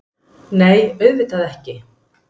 Nei, auðvitað ekki.